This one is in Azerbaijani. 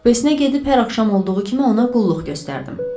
Kupesinə gedib hər axşam olduğu kimi ona qulluq göstərdim.